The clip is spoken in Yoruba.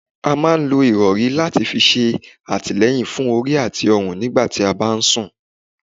A máa ń lò ìrọri láti fi ṣe atileyin fún orí àti ọrun nígbà tí a bá ń sún